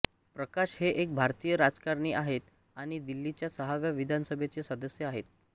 प्रकाश हे एक भारतीय राजकारणी आहेत आणि दिल्लीच्या सहाव्या विधानसभेचे सदस्य आहेत